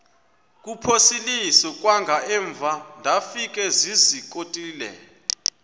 kuphosiliso kwangaemva ndafikezizikotile